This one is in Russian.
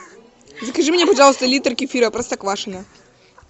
закажи мне пожалуйста литр кефира простоквашино